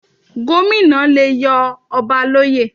Gómìnà le yọ ọba l'óyè.